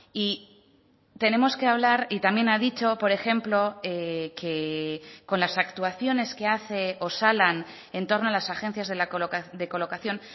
y tenemos que hablar y también ha dicho por ejemplo que con las actuaciones que hace osalan en torno a las agencias de colocación